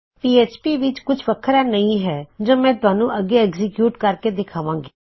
PHP ਵਿੱਚ ਇਹ ਕੁਛ ਵਖਰਾ ਨਹੀ ਹੈ ਜੋ ਮੈਂ ਤੁਹਾਨੂੰ ਅੱਗੇ ਐਗਜ਼ੀਕਯੂਟ ਕਰਕੇ ਦਿਖਾਵਾਂ ਗੀ